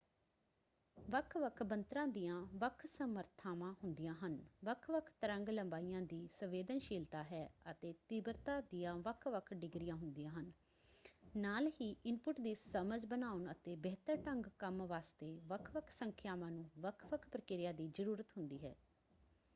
ਵੱਖ-ਵੱਖ ਬਣਤਰਾਂ ਦੀਆਂ ਵੱਖ ਸਮਰੱਥਾਵਾਂ ਹੁੰਦੀਆਂ ਹਨ ਵੱਖ-ਵੱਖ ਤਰੰਗ ਲੰਬਾਈਆਂ ਦੀ ਸੰਵੇਦਨਸ਼ੀਲਤਾ ਹੈ ਅਤੇ ਤੀਬਰਤਾ ਦੀਆਂ ਵੱਖ-ਵੱਖ ਡਿਗਰੀਆਂ ਹੁੰਦੀਆਂ ਹਨ ਨਾਲ ਹੀ ਇਨਪੁੱਟ ਦੀ ਸਮਝ ਬਣਾਉਣ ਅਤੇ ਬਿਹਤਰ ਢੰਗ ਕੰਮ ਵਾਸਤੇ ਵੱਖ-ਵੱਖ ਸੰਖਿਆਵਾਂ ਨੂੰ ਵੱਖ-ਵੱਖ ਪ੍ਰਕਿਰਿਆ ਦੀ ਜ਼ਰੂਰਤ ਹੁੰਦੀ ਹੈ।